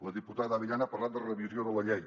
la diputada abellán ha parlat de revisió de la llei